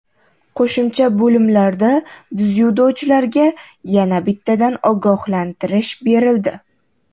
Qo‘shimcha bo‘limlarda dzyudochilarga yana bittadan ogohlantirish berildi.